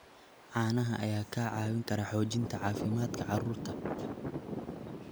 Caanaha ayaa kaa caawin kara xoojinta caafimaadka carruurta.